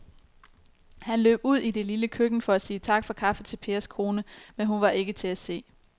Han løb ud i det lille køkken for at sige tak for kaffe til Pers kone, men hun var ikke til at se.